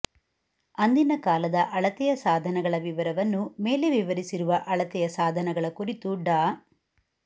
ಅಂದಿನ ಕಾಲದ ಅಳತೆಯ ಸಾಧನಗಳ ವಿವರವನ್ನು ಮೇಲೆ ವಿವರಿಸಿರುವ ಅಳತೆಯ ಸಾಧನಗಳ ಕುರಿತು ಡಾ